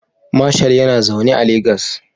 Marshal yana zaune a Legas